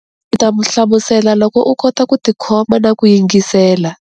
Ndzi ta hlamusela loko u kota ku tikhoma na ku yingisela.